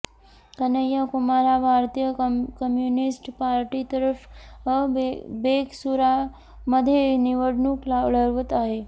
कन्हैया कुमार हा भारतीय कम्युनिस्ट पार्टीतर्फे बेगसूरायमध्ये निवडणूक लढवत आहे